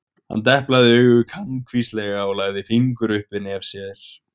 Hann deplaði auga kankvíslega og lagði fingur upp við nef sér.